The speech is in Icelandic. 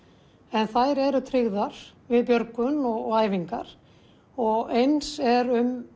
en þær eru tryggðar við björgun og æfingar og eins er um